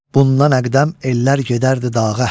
Bundan əqdəm ellər gedərdi dağa.